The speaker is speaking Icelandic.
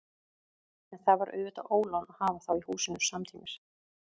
En það var auðvitað ólán að hafa þá í húsinu samtímis.